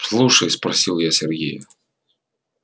слушай спросила я сергея